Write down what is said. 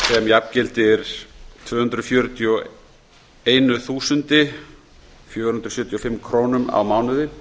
jafngildir tvö hundruð fjörutíu og eitt þúsund fjögur hundruð sjötíu og fimm krónum á mánuði